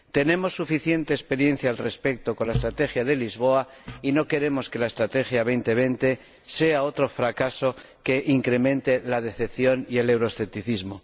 Tenemos suficiente experiencia al respecto con la Estrategia de Lisboa y no queremos que la Estrategia 2020 sea otro fracaso que incremente la decepción y el euroescepticismo.